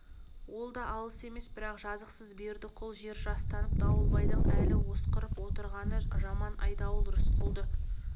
ол да алыс емес бірақ жазықсыз бердіқұл жер жастанып дауылбайдың әлі осқырып отырғаны жаман айдауыл рысқұлды